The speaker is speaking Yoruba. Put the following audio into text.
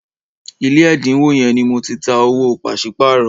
ilé ẹdinwo yén ní Mọ tí tá owó paṣipaarọ